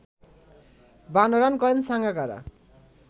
৫২ run করেন সাঙ্গাকারা